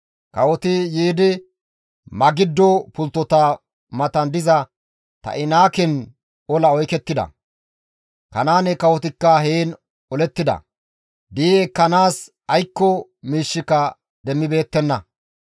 «Kawoti yiidi Magiddo pulttota matan diza Ta7inaaken ola oykettida. Kanaane kawotikka heen olettida; di7i ekkanaas aykko miishshika demmibeettenna.